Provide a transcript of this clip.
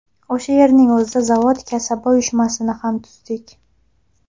O‘sha yerning o‘zida zavod kasaba uyushmasini ham tuzdik.